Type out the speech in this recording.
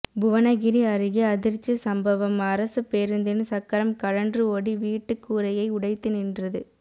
புவனகிரி அருகே அதிர்ச்சி சம்பவம் அரசு பேருந்தின் சக்கரம் கழன்று ஓடி வீட்டுக் கூரையை உடைத்து நின்றது